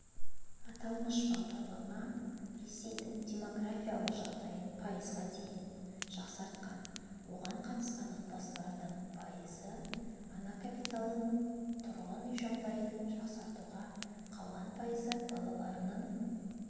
аталмыш бағдарлама ресейдің демографиялық жағдайын пайызға дейін жақсартқан оған қатысқан отбасылардың пайызы ана капиталын тұрғын үй жағдайын жақсартуға қалған пайызы балаларының